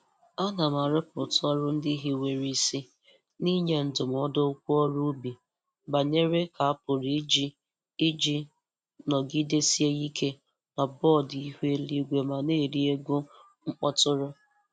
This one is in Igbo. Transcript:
Ana m arọpụta ọrụ ndị hiwara isi n'nye ndụmọdụ okwu ọrụ ubi banyere ka a pụrụ iji iji nọgidesie ike n'bọdụ ihu eluigwe ma na-eri ego mkpọtụrụ.